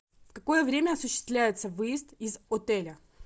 в какое время осуществляется выезд из отеля